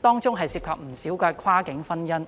當中涉及不少跨境婚姻。